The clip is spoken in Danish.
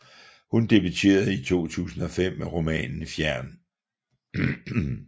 Hun debuterede i 2005 med romanen Fjern